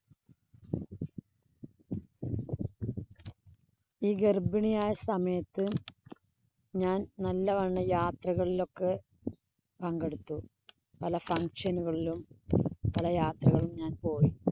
ഈ ഗര്‍ഭിണിയായ സമയത്ത് ഞാന്‍ നല്ലവണ്ണം യാത്രകളിലൊക്കെ പങ്കെടുത്തു. പല function ഉകളിലും, പല യാത്രകളും ഞാന്‍ പോയി.